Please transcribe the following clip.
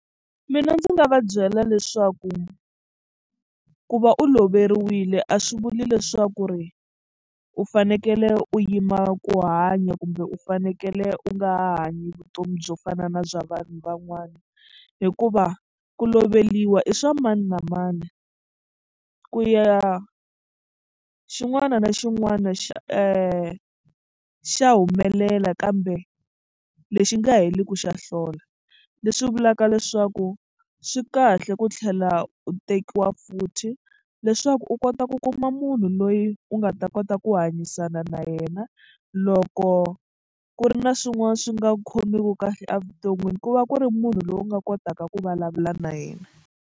Mina ndzi nga va byela leswaku ku va u loveriwile a swi vuli leswaku ri u fanekele u yima ku hanya kumbe u fanekele u nga ha hanyi vutomi byo fana na bya vanhu van'wana hikuva ku loveriwa i swa mani na mani ku ya xin'wana na xin'wana xa xa humelela kambe lexi nga heli ku xa hlola leswi vulaka leswaku swi kahle ku tlhela u tekiwa futhi leswaku u kota ku kuma munhu loyi u nga ta kota ku hanyisana na yena loko ku ri na swin'wana swi nga khomiku kahle evuton'wini ku va ku ri munhu loyi u nga kotaka ku vulavula na yena.